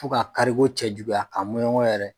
Fo ka kari ko cɛjuguya a mɔnɲɔngɔ yɛrɛ.